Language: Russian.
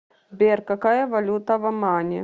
сбер какая валюта в омане